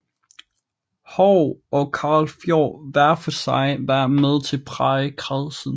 Haahr og Karl Fjord hver for sig været med til at præge kredsen